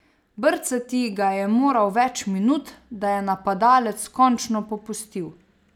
Brcati ga je moral več minut, da je napadalec končno popustil.